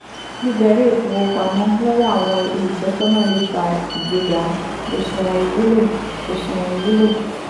gbígba ilé-ìfowópamọ́ lọ́wọ́ àwọn olùtọ́sọ́nà lè fa ìgbéga fed òṣùwọ̀n ìwúlò. fed òṣùwọ̀n ìwúlò.